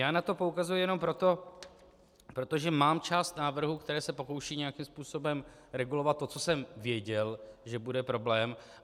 Já na to poukazuji jenom proto, protože mám část návrhů, které se pokoušejí nějakým způsobem regulovat to, co jsem věděl, že bude problém.